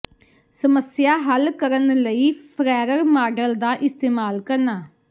ਸਮੱਸਿਆ ਹੱਲ ਕਰਨ ਲਈ ਫਰੈਅਰ ਮਾਡਲ ਦਾ ਇਸਤੇਮਾਲ ਕਰਨਾ